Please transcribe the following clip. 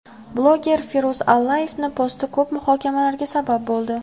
Bloger Feruz Allayevning posti ko‘p muhokamalarga sabab bo‘ldi.